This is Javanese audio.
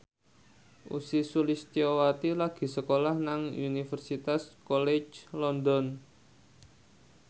Ussy Sulistyawati lagi sekolah nang Universitas College London